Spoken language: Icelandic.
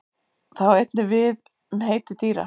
Það á einnig við við um heiti dýra.